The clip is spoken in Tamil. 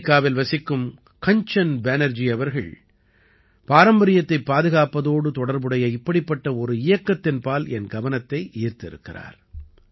அமெரிக்காவில் வசிக்கும் கஞ்சன் பேனர்ஜி அவர்கள் பாரம்பரியத்தைப் பாதுகாப்பதோடு தொடர்புடைய இப்படிப்பட்ட ஒரு இயக்கத்தின்பால் என் கவனத்தை ஈர்த்திருக்கிறார்